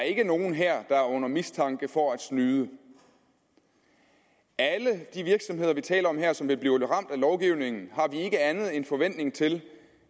ikke er nogen her der er under mistanke for at snyde alle de virksomheder vi taler om her som vil blive ramt af lovgivningen har vi ikke anden forventning til